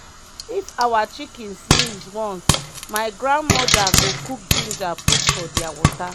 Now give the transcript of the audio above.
if awa chicken sneez once my grand moda go cook ginger put for dia water.